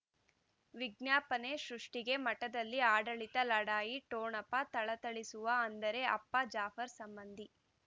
ವಿಜ್ಞಾಪನೆ ಸೃಷ್ಟಿಗೆ ಮಠದಲ್ಲಿ ಆಡಳಿತ ಲಢಾಯಿ ಠೊಣಪ ಥಳಥಳಿಸುವ ಅಂದರೆ ಅಪ್ಪ ಜಾಫರ್ ಸಂಬಂಧಿ